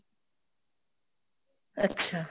ਅੱਛਾ